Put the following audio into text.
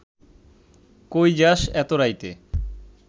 কই যাস এত রাইতে